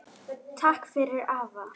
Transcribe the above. Takk fyrir afa.